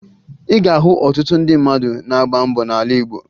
Ị ga-ahụ ọtụtụ ndị mmadụ na-agba mbọ n'ala Igbo